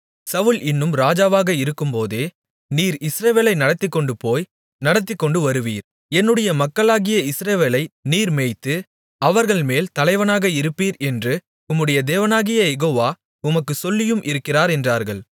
சவுல் இன்னும் ராஜாவாக இருக்கும்போதே நீர் இஸ்ரவேலை நடத்திக்கொண்டுபோய் நடத்திக்கொண்டு வருவீர் என்னுடைய மக்களாகிய இஸ்ரவேலை நீர் மேய்த்து அவர்கள்மேல் தலைவனாக இருப்பீர் என்று உம்முடைய தேவனாகிய யெகோவா உமக்குச் சொல்லியும் இருக்கிறார் என்றார்கள்